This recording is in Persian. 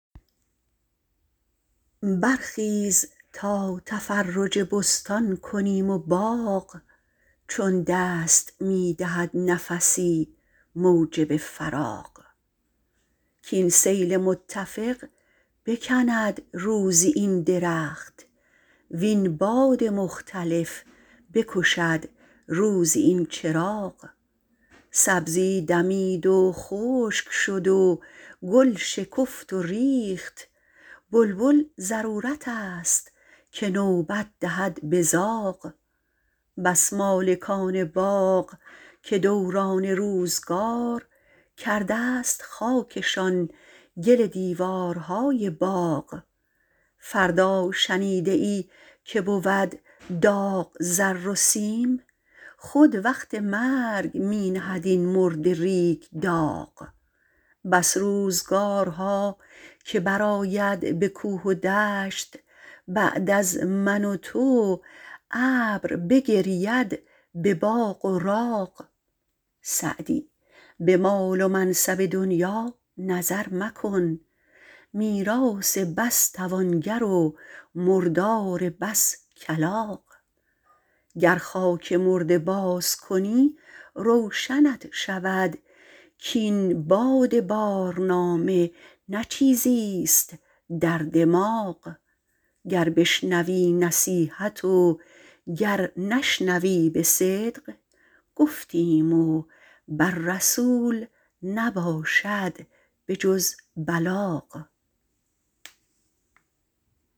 برخیز تا تفرج بستان کنیم و باغ چون دست می دهد نفسی موجب فراغ کاین سیل متفق بکند روزی این درخت وین باد مختلف بکشد روزی این چراغ سبزی دمید و خشک شد و گل شکفت و ریخت بلبل ضرورت است که نوبت دهد به زاغ بس مالکان باغ که دوران روزگار کرده ست خاکشان گل دیوارهای باغ فردا شنیده ای که بود داغ زر و سیم خود وقت مرگ می نهد این مرده ریگ داغ بس روزگارها که برآید به کوه و دشت بعد از من و تو ابر بگرید به باغ و راغ سعدی به مال و منصب دنیا نظر مکن میراث بس توانگر و مردار بس کلاغ گر خاک مرده باز کنی روشنت شود کاین باد بارنامه نه چیزیست در دماغ گر بشنوی نصیحت و گر نشنوی به صدق گفتیم و بر رسول نباشد به جز بلاغ